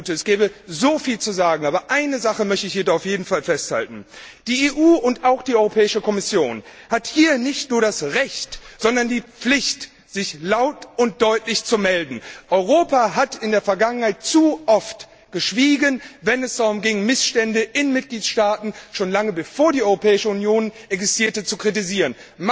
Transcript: Es gäbe so viel zu sagen, aber eine Sache möchte ich hier auf jeden Fall festhalten Die EU und auch die Europäische Kommission haben hier nicht nur das Recht, sondern die Pflicht, sich laut und deutlich zu melden. Europa hat in der Vergangenheit zu oft geschwiegen, wenn es darum ging, Missstände in Mitgliedstaaten schon lange bevor die Europäische Union existierte zu kritisieren.